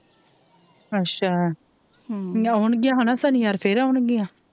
ਅੱਛਾ ਹਮ ਹੁਣ ਗਿਆ ਹੋਣਾ ਸਨਿਵਾਰ ਫੇਰ ਆਉਣੰ ਗੀਆਂ